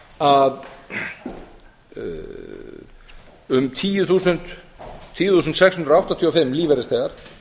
að um tíu þúsund sex hundruð áttatíu og fimm lífeyrisþegar